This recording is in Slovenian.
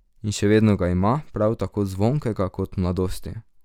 In še vedno ga ima, prav tako zvonkega kot v mladosti.